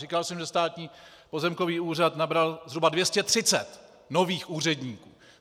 Říkal jsem, že Státní pozemkový úřad nabral zhruba 230 nových úředníků.